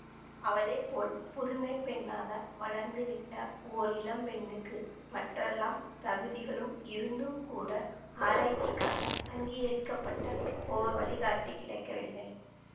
அவளை போல் புதுமைப் பெண்ணாக வளர்ந்து விட்ட ஓர் இளம்பெண்ணுக்கு மற்றெல்லாத் தகுதிகளும் இருந்தும் கூட ஆராய்ச்சிக்காக அங்கீகரிக்க பட்ட ஓர் வழிகாட்டி கிடைக்கவில்லை